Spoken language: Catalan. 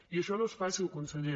i això no és fàcil conseller